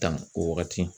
Dan o wagati